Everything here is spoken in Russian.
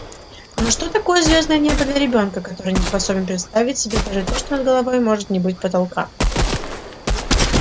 но что такое звёздное небо для ребёнка который не способен представить себе даже что над головой может не быть потолка